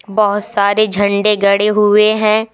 बहोत सारे झंडे गड़े हुए हैं।